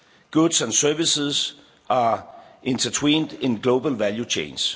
economy goods and services are intertwined in global value